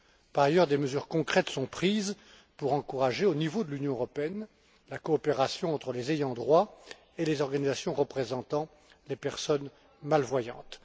Par ailleurs, des mesures concrètes sont prises pour encourager, au niveau de l'Union européenne, la coopération entre les ayants droit et les organisations représentant les personnes malvoyantes.